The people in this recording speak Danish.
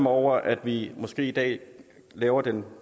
over at vi måske i dag laver den